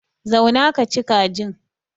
Zauna kaci kajin.